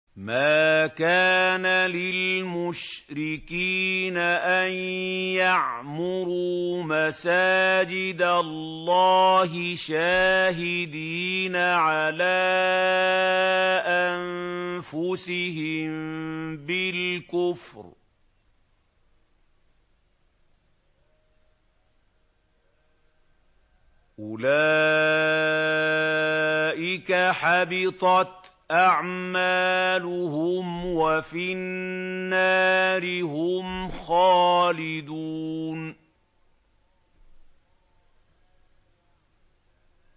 مَا كَانَ لِلْمُشْرِكِينَ أَن يَعْمُرُوا مَسَاجِدَ اللَّهِ شَاهِدِينَ عَلَىٰ أَنفُسِهِم بِالْكُفْرِ ۚ أُولَٰئِكَ حَبِطَتْ أَعْمَالُهُمْ وَفِي النَّارِ هُمْ خَالِدُونَ